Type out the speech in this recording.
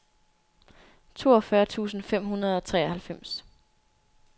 toogfyrre tusind fem hundrede og treoghalvfems